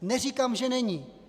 Neříkám, že není.